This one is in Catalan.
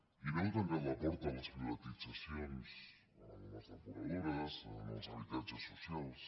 i no heu tancat la porta a les privatitzacions en les depuradores en els habitatges socials